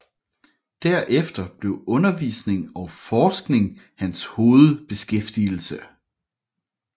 Derefter blev undervisning og forskning hans hovedbeskæftigelse